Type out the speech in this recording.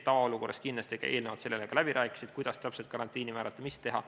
Tavaolukorras eelnevad sellele kindlasti ka läbirääkimised, kuidas täpselt karantiini määrata, mida teha.